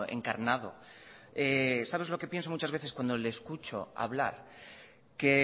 encarnado sabe lo que pienso muchas veces cuando le escucho hablar que